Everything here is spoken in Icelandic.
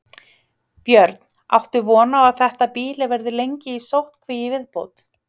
Björn: Áttu von á að þetta býli verði lengi í sóttkví í viðbót?